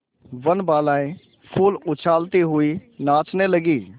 वनबालाएँ फूल उछालती हुई नाचने लगी